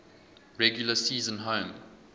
regular season home